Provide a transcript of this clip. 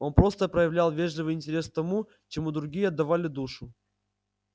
он просто проявлял вежливый интерес к тому чему другие отдавали душу